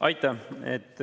Aitäh!